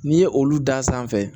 N'i ye olu dan sanfɛ